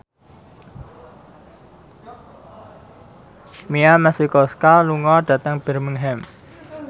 Mia Masikowska lunga dhateng Birmingham